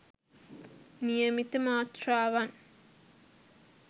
නියමිත මාත්‍රාවන්